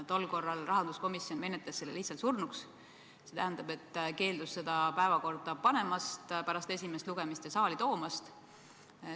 Tol korral rahanduskomisjon menetles selle lihtsalt surnuks, st keeldus seda pärast esimest lugemist päevakorda panemast ja saali toomast.